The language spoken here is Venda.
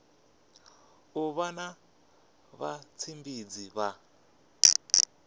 u vha na vhatshimbidzi vha